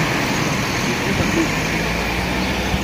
Bi šli na Bled, mister?